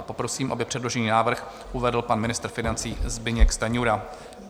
A poprosím, aby předložený návrh uvedl pan ministr financí Zbyněk Stanjura.